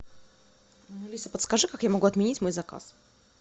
алиса подскажи как я могу отменить мой заказ